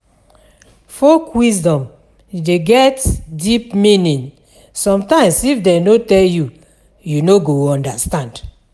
Folk wisdom de get deep meaning sometimes if dem no tell you, you no go understand